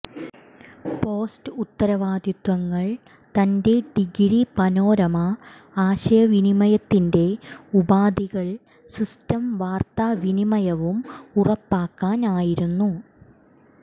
post ഉത്തരവാദിത്വങ്ങൾ തന്റെ degree panorama ആശയവിനിമയത്തിന്റെ ഉപാധികൾ സിസ്റ്റം വാർത്താവിനിമയവും ഉറപ്പാക്കാൻ ആയിരുന്നു